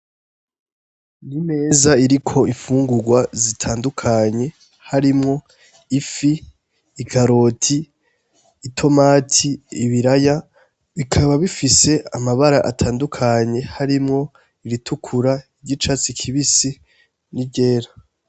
N,imeza iriko imfungugwa zitandukanye harimwo; ifi, ikaroti , itomati ,ibiraya bikaba bifise amabara atandukanye harimwo ; iritukura irya icatsi kibisi ni ryera.